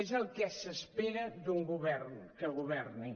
és el que s’espera d’un govern que governi